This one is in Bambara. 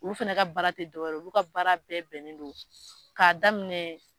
Olu fɛnɛ ka baara tɛ dɔ wɛrɛ ye o, olu ka baara bɛɛ bɛnnen don k'a daminɛ.